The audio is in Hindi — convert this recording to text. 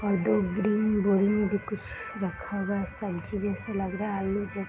और दो ग्रीन बोरी में कुछ रखा हुआ हैं संतरे जैसा लग रहा है आलू जैसा --